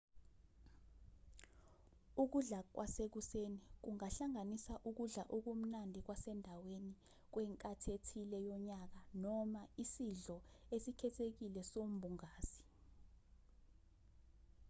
ukudla kwasekuseni kungahlanganisa ukudla okumnandi kwasendaweni kwenkathi ethile yonyaka noma isidlo esikhethekile sombungazi